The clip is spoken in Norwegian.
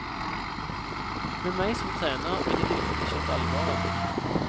Med meg som trener, ville de virkelig skjønt alvoret.